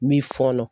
Min fɔɔnɔ